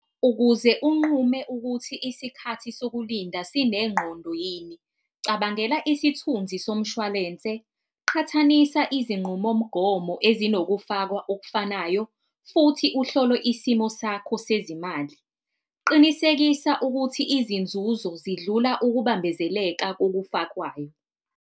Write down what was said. Ukuze unqume ukuthi isikhathi sokulinda sinengqondo yini cabangela isithunzi somshwalense, qhathanisa izinqumomgomo ezinokufakwa okufanayo, futhi uhlolwe isimo sakho sezimali. Qinisekisa ukuthi izinzuzo zidlula ukubambezeleka kokufakwayo